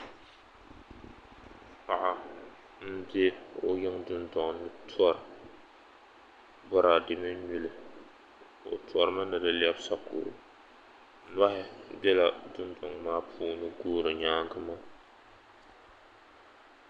Paɣa m be o dundoŋ ni tora boraade mini nyuli o torimi ni di lebi sokoro nohi bela dundoŋ maa puuni guuri nyaanga maa.